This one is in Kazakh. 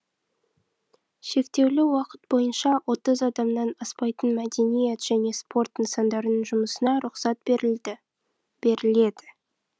шектеулі уақыт бойынша отыз адамнан аспайтын мәдениет және спорт нысандарының жұмысына рұқсат берілді беріледі